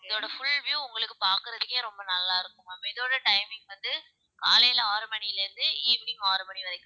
இதோட full view உங்களுக்கு பார்க்கறதுக்கே ரொம்ப நல்லா இருக்கும் ma'am இதோட timing வந்து காலையில ஆறு மணியில இருந்து evening ஆறு மணி வரைக்கும்